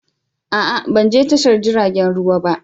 A'a! Ban je tashar jiragen ruwa ba.